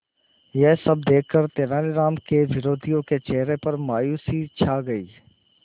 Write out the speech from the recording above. यह सब देखकर तेनालीराम के विरोधियों के चेहरे पर मायूसी छा गई